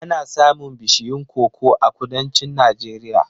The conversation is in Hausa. Ana samun bishiyun koko a Kudancin Najeriya.